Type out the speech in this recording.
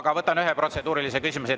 Aga võtan ühe protseduurilise küsimuse.